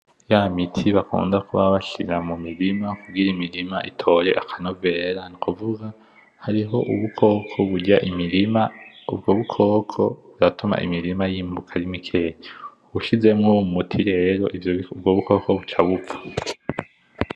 Ya miti bakunda kuba bashira mu mirima kugira imirama itore akanovera, kuvuga hariho ubukoko burya imirima, ubwo bukoko buratuma imirima yimuka ari mikeya. Ushizemo umuti ubwo bukoko ca bupfa.